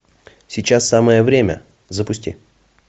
сейчас самое время запусти